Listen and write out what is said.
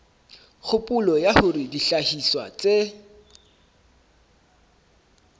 kgopolo ya hore dihlahiswa tse